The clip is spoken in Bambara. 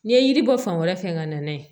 N'i ye yiri bɔ fan wɛrɛ fɛ ka na n'a ye